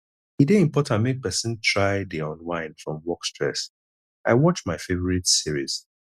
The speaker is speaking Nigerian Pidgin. e dey important make person try dey unwind from work stress i watch my favorite series